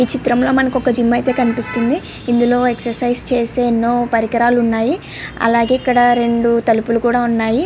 ఈ చిత్రం లో మనకు ఒక జిమ్ అయితే కనిపిస్తుంది. ఇందులో ఎక్సర్సిస్ చేసే ఎన్నో పరికరాలు ఉన్నాయి. అలాగే ఇక్కడ రెండు తలుపులు కూడా ఉన్నాయి.